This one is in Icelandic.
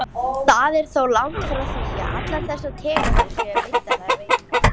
Það er þó langt frá því að allar þessar tegundir séu veiddar eða veiðanlegar.